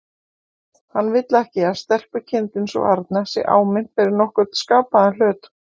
Hann vill ekki að stelpukindin sú arna sé áminnt fyrir nokkurn skapaðan hlut.